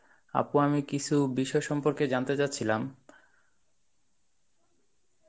আপু আমি কিছু বিষয় সম্পর্কে জানতে চাচ্ছিলাম.